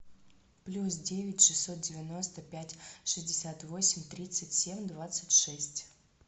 плюс девять шестьсот девяносто пять шестьдесят восемь тридцать семь двадцать шесть